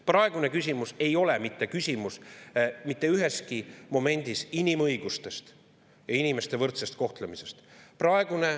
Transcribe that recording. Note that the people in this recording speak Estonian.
Praegune küsimus ei ole mitte üheski momendis küsimus inimõigustest ja inimeste võrdsest kohtlemisest.